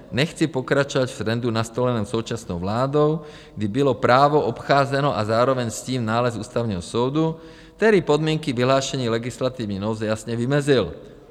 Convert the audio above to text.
Nechci pokračovat v trendu nastoleném současnou vládou, kdy bylo právo obcházeno a zároveň s tím nález Ústavního soudu, který podmínky vyhlášení legislativní nouze jasně vymezil.